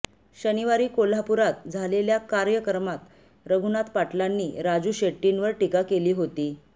शनिवारी कोल्हापुरात झालेल्या कार्यकर्मात रघुनाथ पाटलांनी राजू शेट्टींवर टीका केली होती